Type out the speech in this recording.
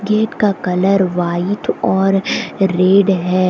Gate का colour white और red है।